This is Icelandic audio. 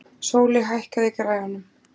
Sóli, hækkaðu í græjunum.